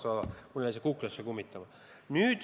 Sada tuhat – mul jäi see kuklasse kummitama.